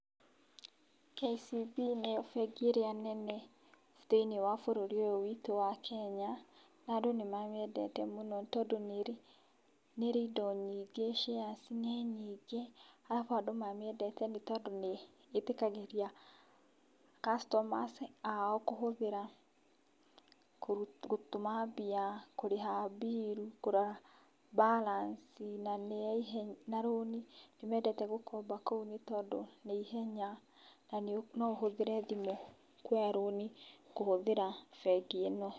KCB nĩo bengi ĩrĩa nene thĩiniĩ wa bũrũri ũyũ witũ wa Kenya nandũ nĩ mamĩendete mũno tondũ nĩrĩ indo nyingĩ. Ciaci nĩ nyingĩ, arabu andũ mamiendete nĩ tondũ nĩ ĩtĩkagĩria kacitomas ao kũhũthĩra gũtũma mbia, kũrĩha mbiru, kũrora mbaranci na nĩ ya ihenya na rũni nĩ mendete gũkomba kũu nĩ tondũ nĩ ihenya na no ũhũthĩre thimũ kuoya rũni kũhũthĩra bengi ĩno.